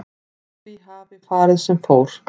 Því hafi farið sem fór